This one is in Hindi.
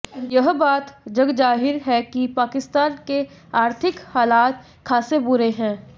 यह बात जगजाहिर है कि पाकिस्तान के आर्थिक हालात खासे बुरे हैं